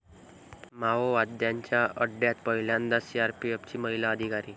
माओवाद्यांच्या अड्ड्यात पहिल्यांदाच सीआरपीएफची महिला अधिकारी